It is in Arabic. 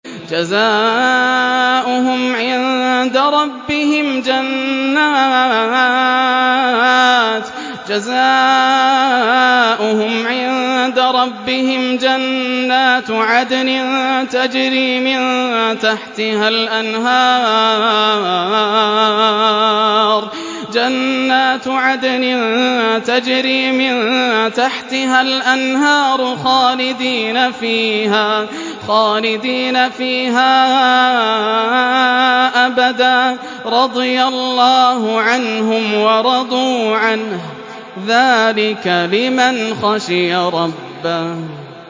جَزَاؤُهُمْ عِندَ رَبِّهِمْ جَنَّاتُ عَدْنٍ تَجْرِي مِن تَحْتِهَا الْأَنْهَارُ خَالِدِينَ فِيهَا أَبَدًا ۖ رَّضِيَ اللَّهُ عَنْهُمْ وَرَضُوا عَنْهُ ۚ ذَٰلِكَ لِمَنْ خَشِيَ رَبَّهُ